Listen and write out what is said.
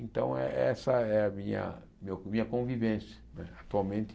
Então, é essa é a minha meu minha convivência né atualmente.